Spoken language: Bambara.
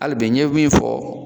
Hali bi n ye min fɔ